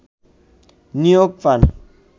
নিয়োগ পান